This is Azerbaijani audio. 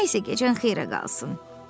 Nə isə gecən xeyirə qalsın.